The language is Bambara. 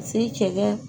Ka se cɛ